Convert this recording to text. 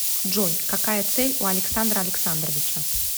джой какая цель у александра александровича